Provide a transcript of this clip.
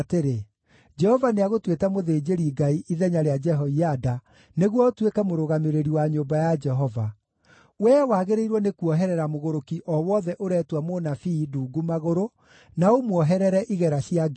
‘Jehova nĩagũtuĩte mũthĩnjĩri-Ngai ithenya rĩa Jehoiada nĩguo ũtuĩke mũrũgamĩrĩri wa nyũmba ya Jehova; wee wagĩrĩirwo nĩkuoherera mũgũrũki o wothe ũretua mũnabii ndungu magũrũ na ũmuoherere igera cia ngingo.